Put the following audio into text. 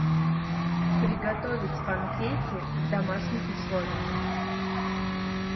приготовить панкейки в домашних условиях